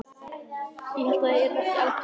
Ég hélt ég yrði ekki eldri!